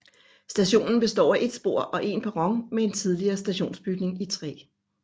Stationen består af et spor og en perron med en tidligere stationsbygning i træ